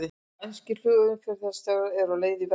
Spænskir flugumferðarstjórar á leið í verkfall